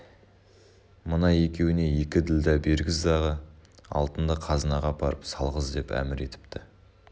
мына екеуіне екі ділдә бергіз дағы алтынды қазынаға апарып салғыз деп әмір етіпті